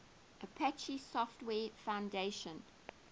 apache software foundation